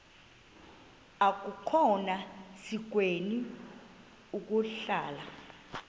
akukhona sikweni ukuhlala